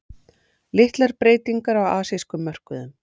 Litlar breytingar á asískum mörkuðum